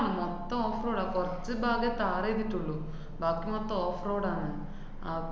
മൊത്തം off road ആ. കുറച്ച് ഭാഗേ tar എയ്തിട്ടുള്ളു. ബാക്കി മൊത്തം off road ആണ്. അപ്പൊ